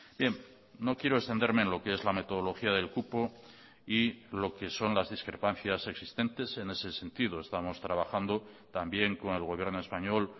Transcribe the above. bien no quiero extenderme en lo que es la metodología del cupo y lo que son las discrepancias existentes en ese sentido estamos trabajando también con el gobierno español